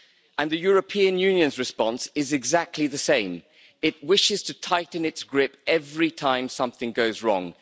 And the European Union's response is exactly the same it wishes to tighten its grip every time something goes wrong.